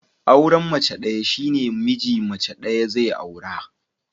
Auran mace ɗaya shine miji mace ɗaya zai aura